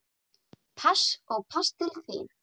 Pass og pass til þín.